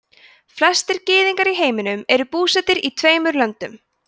flestir gyðingar í heiminum eru búsettir í tveimur löndum